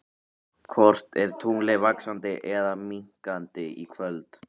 Hvort er tunglið vaxandi eða minnkandi í kvöld?